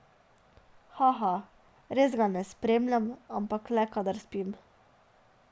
Haha, res ga ne spremljam, ampak le, kadar spim.